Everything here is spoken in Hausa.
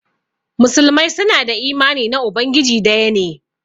Muslimai su na da imani na Ubangiji daya ne.